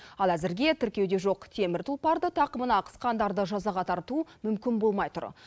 ал әзірге тіркеуде жоқ темір тұлпарды тақымына қысқандарды жазаға тарту мүмкін болмай тұр